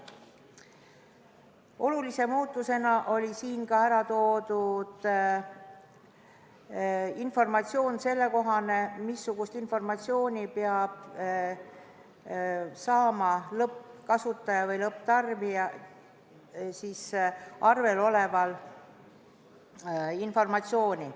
Olulise muudatusena oli siin ära toodud ka informatsioon selle kohta, missugust teavet peab saama lõppkasutaja või lõpptarbija arvel esitatava informatsiooniga.